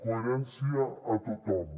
coherència a tothom